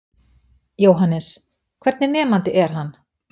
Jóhannes: Hvernig nemandi er hann?